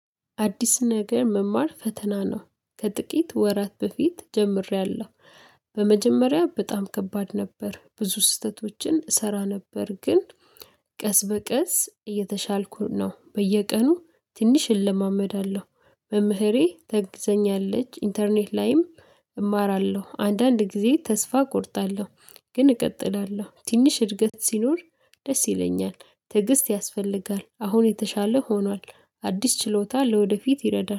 አዲስ ነገር መማር ፈተና ነው። ከጥቂት ወራት በፊት ጀምሬያለሁ። በመጀመሪያ በጣም ከባድ ነበር ብዙ ስህተቶችን እሰራ ነበር። ግን ቀስ በቀስ እየተሻልኩ ነው በየቀኑ ትንሽ እለማመዳለሁ። መምህሬ ታግዘኛለች ኢንተርኔት ላይም እማራለሁ አንዳንድ ጊዜ ተስፋ እቆርጣለሁ ግን እቀጥላለሁ። ትንሽ እድገት ሲኖር ደስ ይለኛል። ትዕግስት ያስፈልጋል አሁን የተሻለ ሆኗል። አዲስ ችሎታ ለወደፊት ይረዳል